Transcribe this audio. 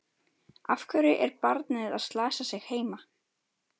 Af hverju er barnið að slasa sig heima?